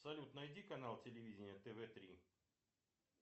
салют найди канал телевидения тв три